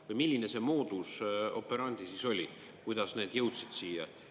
Või milline see modus operandi siis oli, kuidas need jõudsid siia?